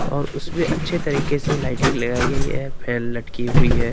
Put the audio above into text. और उसपे अच्छे तरीके से लाइटिंग लगाई गई है फैन लटकी हुई है।